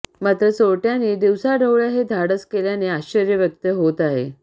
मात्र चोरट्यांनी दिवसाढवळ्या हे धाडस केल्याने आश्चर्य व्यक्त होत आहे